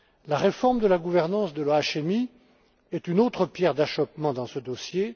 La réforme de la gouvernance de l'OHMI est une autre pierre d'achoppement dans ce dossier.